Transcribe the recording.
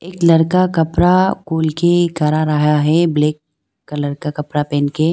एक लड़का कपड़ा खोल के खड़ा रहा है ब्लैक कलर का कपड़ा पहन के--